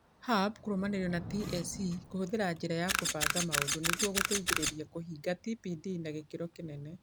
hub kĩrũmanĩrĩrio na TSC kũhũthĩra njĩra ya kũbanga maũndũ nĩguo gũteithĩrĩrie kũhingia TPD na gĩkĩro kĩnene.